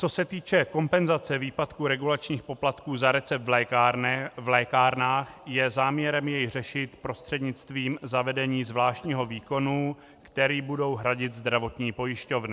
Co se týče kompenzace výpadku regulačních poplatků za recept v lékárnách, je záměrem jej řešit prostřednictvím zavedení zvláštního výkonu, který budou hradit zdravotní pojišťovny.